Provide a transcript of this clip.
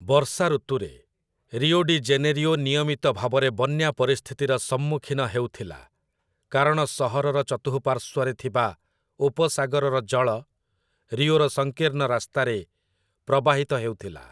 ବର୍ଷା ଋତୁରେ, Rio de Janeiro ନିୟମିତ ଭାବରେ ବନ୍ୟା ପରିସ୍ଥିତିର ସମ୍ମୁଖୀନ ହେଉଥିଲା, କାରଣ ସହରର ଚତୁଃପାର୍ଶ୍ୱରେ ଥିବା ଉପସାଗରର ଜଳ ରିଓର ସଂକୀର୍ଣ୍ଣ ରାସ୍ତାରେ ପ୍ରବାହିତ ହେଉଥିଲା ।